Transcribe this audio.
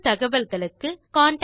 மேலும் தகவல்களுக்கு தொடர்பு கொள்க